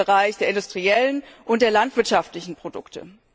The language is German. im Bereich der industriellen und der landwirtschaftlichen Produkte.